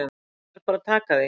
Ég verð bara að taka því.